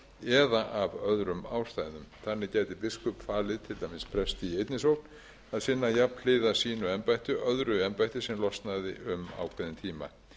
eða af öðrum ástæðum þannig gæti biskup falið til dæmis presti í einn sókn að sinna jafnhliða sínu embætti öðru embætti sem losnaði